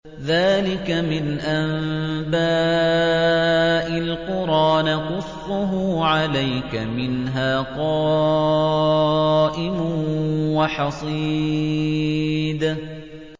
ذَٰلِكَ مِنْ أَنبَاءِ الْقُرَىٰ نَقُصُّهُ عَلَيْكَ ۖ مِنْهَا قَائِمٌ وَحَصِيدٌ